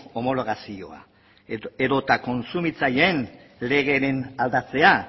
homologazioa edota kontsumitzaileen legeren aldatzea